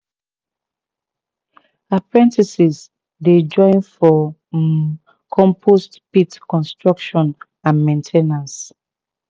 apprentices dey join for um compost pit construction and main ten ance